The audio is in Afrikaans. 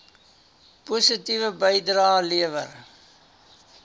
positiewe bydrae lewer